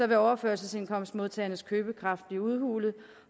vil overførselsindkomstmodtagernes købekraft blive udhulet